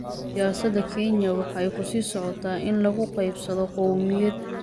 Siyaasada Kenya waxa ay ku sii socotay in lagu qaybsado qawmiyad.